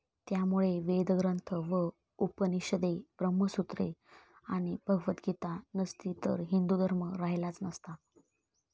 त्यामुळे वेदग्रंथ व उपनिषदे, ब्रह्मसूत्रे आणि भगवतगीता नसती तरी हिंदुधर्म राहिलाच असता.